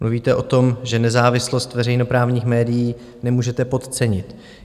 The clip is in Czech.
Mluvíte o tom, že nezávislost veřejnoprávních médií nemůžete podcenit.